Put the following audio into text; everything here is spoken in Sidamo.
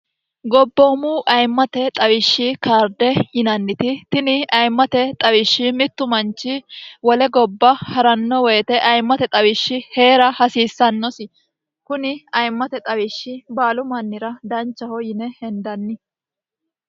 gobboomu ayimmate xawishshi kaarde yinanniti tini ayimmate xawishshi mittu manchi wole gobba ha'ranno woyite ayimmate xawishshi hee'ra hasiissannosi kuni ayimmate xawishshi baalu mannira danchaho yine hendanni